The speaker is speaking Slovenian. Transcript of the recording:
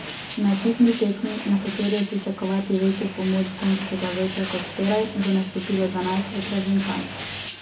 Na ekipni tekmi, na kateri je pričakovati večjo pomoč vzgonskega vetra kot včeraj, bo nastopilo dvanajst reprezentanc.